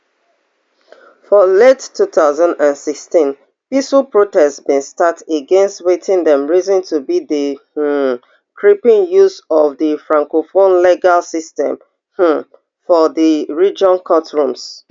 for late two thousand and sixteen peaceful protests bin start against wetin dem reason to be di um creeping use of di francophone legal system um for di region courtrooms